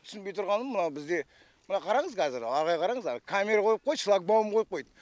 түсінбей тұрғаным мына бізде мына қараңыз кәзір ары қарай қараңыз әні камера қойып қойды шлакбаум қойып қойды